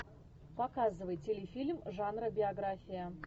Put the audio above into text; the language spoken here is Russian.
показывай телефильм жанра биография